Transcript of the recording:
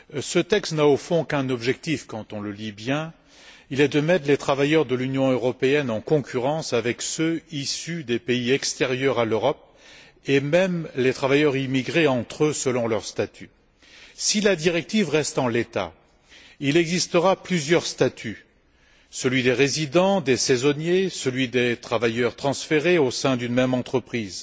Ce texte n'a, au fond, qu'un objectif quand on le lit bien, qui est de mettre les travailleurs de l'Union européenne en concurrence avec ceux issus des pays extérieurs à l'Europe, et même les travailleurs immigrés entre eux selon leur statut. Si la directive reste en l'état, il existera plusieurs statuts celui des résidents, celui des saisonniers, celui des travailleurs transférés au sein d'une même entreprise.